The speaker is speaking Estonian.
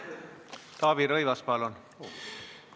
Taavi Rõivas, palun!